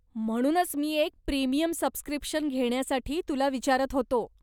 म्हणूनच मी एक प्रीमियम सबस्क्रिप्शन घेण्यासाठी तुला विचारत होतो.